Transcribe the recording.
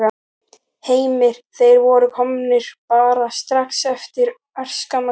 Heimir: Þeir voru komnir bara strax eftir örskamma stund?